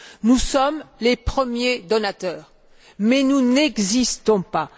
Nous sommes les premiers donateurs, mais nous n'existons pas.